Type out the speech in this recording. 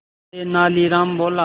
तेनालीराम बोला